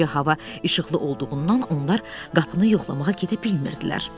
Gecə hava işıqlı olduğundan onlar qapını yoxlamağa gedə bilmirdilər.